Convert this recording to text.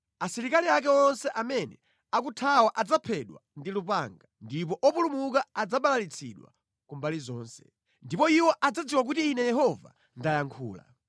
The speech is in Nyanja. Asilikali ake onse amene akuthawa adzaphedwa ndi lupanga, ndipo opulumuka adzabalalitsidwa ku mbali zonse. Ndipo iwo adzadziwa kuti Ine Yehova ndayankhula.